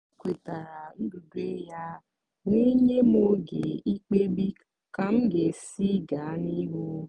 o kwetara ndudue ya wee nye m oge ikpebi ka m ga-esi gaa n'ihu.